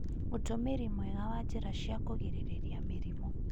ũtũmĩri mwega wa njĩra cia kũgirĩrĩria mĩrimũ